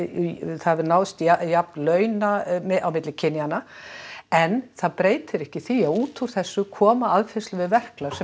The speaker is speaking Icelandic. það hefur náðst jafn launað milli kynjanna en það breytir ekki því að útúr þessu koma aðfærslur við verklag sem